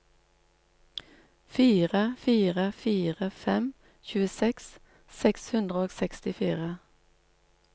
fire fire fire fem tjueseks seks hundre og sekstifire